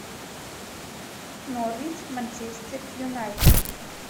норвич манчестер юнайтед